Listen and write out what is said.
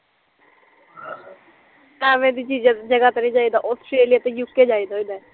ਅਵੇ ਦੀਆ ਜਗਾ ਤੇ ਨੀ ਜਾਈਦਾ ਹੁੰਦਾ ਔਸਟ੍ਰੇਲਿਆ ਤੇ ਯੂ ਕੇ ਜਾਈਦਾ ਹੁੰਦਾ ਐ